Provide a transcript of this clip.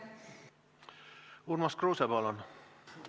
Urmas Kruuse, palun!